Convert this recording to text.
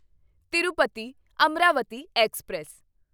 Tirupati Amaravati express